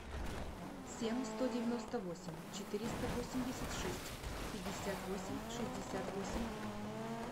семь сто девяносто восемь четыреста восемьдесят шесть пятьдесят восемь шестьдесят восемь